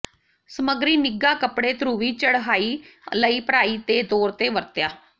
ਸਮੱਗਰੀ ਨਿੱਘਾ ਕੱਪੜੇ ਧਰੁਵੀ ਚੜਹਾਈ ਲਈ ਭਰਾਈ ਦੇ ਤੌਰ ਤੇ ਵਰਤਿਆ